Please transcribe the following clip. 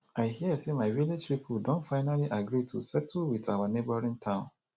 i hear say my village people don finally agree to settle with our neighboring town